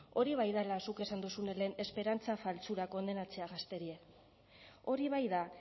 hori bai dala zuk esan dozune lehen esperantza faltsura kondenatzea gazterie hori bai da